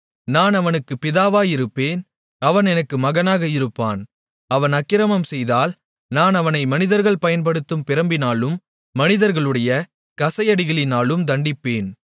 நான் அவனுக்குப் பிதாவாயிருப்பேன் அவன் எனக்கு மகனாக இருப்பான் அவன் அக்கிரமம் செய்தால் நான் அவனை மனிதர்கள் பயன்படுத்தும் பிரம்பினாலும் மனிதர்களுடைய கசையடிகளினாலும் தண்டிப்பேன்